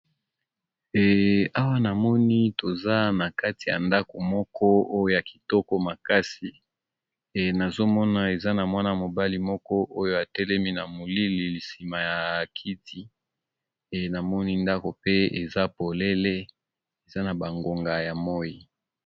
Awa namoni toza nakati yandako moko eza yakitoko makasi nazomona eza namwana mobali moko oyo atelemi na molili simayakiti namoni ndako pe eza polele eza nabangonga yamoi